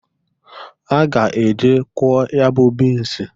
A ga-e je kwọọ ya bụ bins.